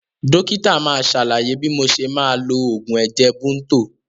Dókítà máa sàlàyé bí mo ṣe máa lo oògùn ẹ̀jẹ̀ Bunto